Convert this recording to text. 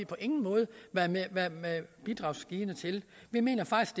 på ingen måde være bidragsgivende til vi mener faktisk